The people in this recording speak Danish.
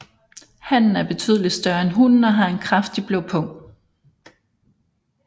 Hannen er betydeligt større end hunnen og har en kraftigt blå pung